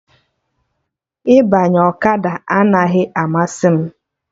Ịbanye ọkada anaghị amasị m